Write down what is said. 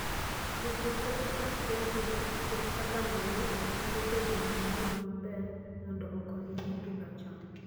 Jopur keto pachgi ahinya kuom kaka lowo nyalo bedo gi ngima maber mondo okonygi pidho cham.